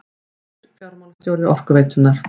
Nýr fjármálastjóri Orkuveitunnar